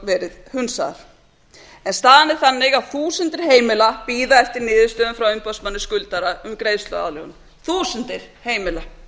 verið hunsaðar en þstaðan er þannig að þúsundir heimila bíða eftir niðurstöðum frá umboðsmanni skuldara um greiðsluaðlögun þúsundir heimila